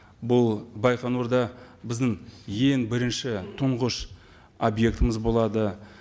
бұл байқоңырда біздің ең бірінші тұңғыш объектіміз болады